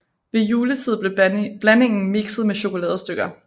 Ved juletid blev blandingen mikset med chokoladestykker